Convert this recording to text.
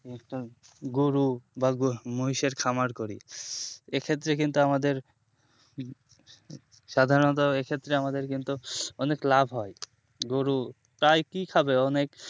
একটা গরু বা গোমহিষের খামার করি এ ক্ষেত্রে কিন্তু আমাদের সাধারণতো এ ক্ষেত্রে আমাদের কিন্তু অনেক লাভ হয় গরু তাই কি খাবে অনেক